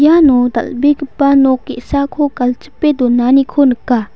iano dal·begipa nok ge·sako galchipe donaniko nika.